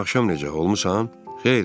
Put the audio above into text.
Dünən axşam necə olmusan?